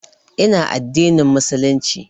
Ina addinin Musulunci